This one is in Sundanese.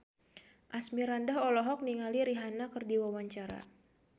Asmirandah olohok ningali Rihanna keur diwawancara